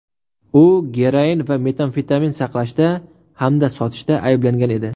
U geroin va metamfetamin saqlashda hamda sotishda ayblangan edi.